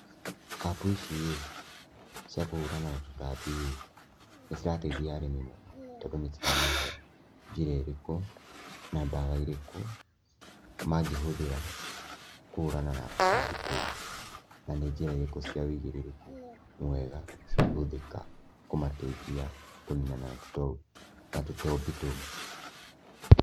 App ici ĩ, cia kũhũrana na tũtambi ĩ, nĩ cirateithia arĩmi mũno, tondũ nĩ ciramahe njĩra ĩrĩkũ, na ndawa ĩrĩkũ, mangĩhũthĩra kũhũrana na tũtambi tũu, na nĩ njĩra irĩkũ cia ũigĩrĩrĩku mwega cingĩhũthĩka kũmateithia kũninana na tũto na tũtambi tũu.